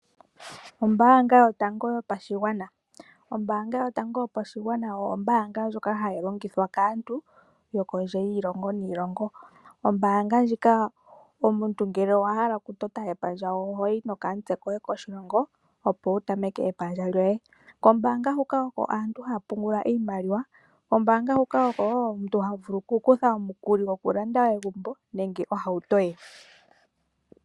Ombaanga yotango yopashigwana. Ombaanga yotango yopashigwana oyo ombaanga ndjoka hayi longithwa kaantu yo kondje yiilongo niilongo. Omuntu ngele owa hala okutota epandja oho yi nokamutse koye koshilongo opo wu tameke epandja lyoye. Kombaanga huka oko aantu haya pungula iimaliwa. Kombaanga huka oko wo omuntu ha vulu ku kutha omukuli gokulanda egumbo nenge ohauto ye.